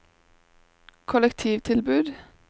kollektivtilbud